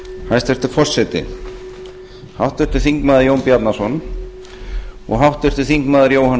hæstvirtur forseti háttvirtur þingmaður jón bjarnason og háttvirtur þingmaður jóhann